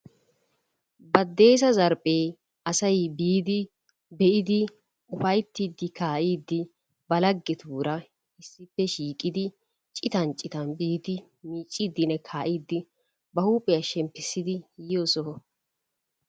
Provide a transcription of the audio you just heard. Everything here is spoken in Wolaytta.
Baddeessa zarphee asay biidi, pe'idi ufayttiidi kaa'iidi ba laggetuura issippe shiiqqidi citan citan biidi micciidinne kaa'iidi ba huuphiya shemppissidi yiyo soho.